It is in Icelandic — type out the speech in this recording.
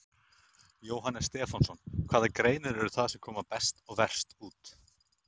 Jóhannes Stefánsson: Hvaða greinar eru það sem koma best og verst út?